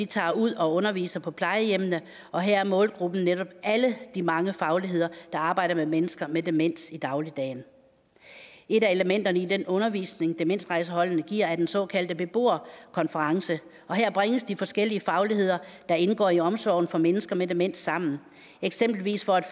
tager ud og underviser på plejehjemmene og her er målgruppen netop alle de mange fagligheder der arbejder med mennesker med demens i dagligdagen et af elementerne i den undervisning demensrejseholdene giver er den såkaldte beboerkonference her bringes de forskellige fagligheder der indgår i omsorgen for mennesker med demens sammen eksempelvis for at